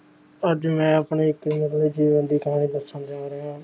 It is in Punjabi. ਅੱਜ ਮੈਂ ਆਪਣੇ ਉੱਤੇ ਜੀਵਨ ਵਿਚਾਰ ਦੱਸਣ ਜਾ ਰਿਹਾ